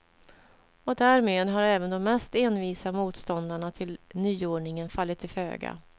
Och därmed har även de mest envisa motståndarna till nyordningen fallit till föga.